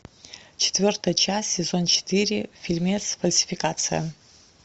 четвертая часть сезон четыре фильмец фальсификация